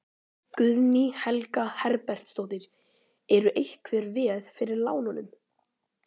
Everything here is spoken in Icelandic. Guðný Helga Herbertsdóttir: Eru einhver veð fyrir lánunum?